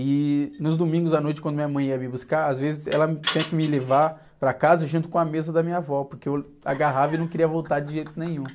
E nos domingos à noite, quando minha mãe ia me buscar, às vezes ela tinha que me levar para casa junto com a mesa da minha avó, porque eu agarrava e não queria voltar de jeito nenhum.